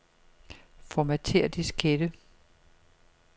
Formatér diskette.